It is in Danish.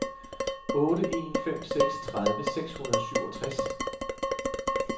otte en fem seks tredive seks hundrede og syvogtres